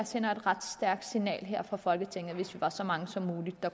sender et ret stærkt signal her fra folketinget hvis vi er så mange som muligt der